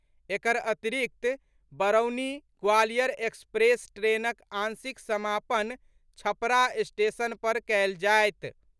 एकर अतिरिक्त बरौनी ग्वालियर एक्सप्रेस ट्रेनक आंशिक समापन छपरा स्टेशन पर कयल जायत।